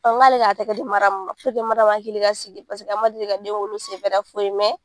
Ɔ n k'ale k'a tɛgɛ di Mariyamu ma Mariyamu hakili ka sigi paseke a ma deli ka den wolo foyi mɛn